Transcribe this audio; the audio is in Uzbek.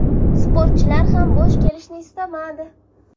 Sportchilar ham bo‘sh kelishni istamadi.